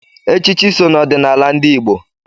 Echichi so n'ọdịnala ndị Igbo.